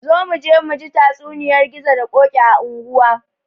Zo muje muji tatsuniyar gizo da ƙoki a anguwa